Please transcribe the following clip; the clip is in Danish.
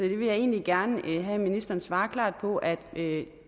vil egentlig gerne have at ministeren svarer klart på at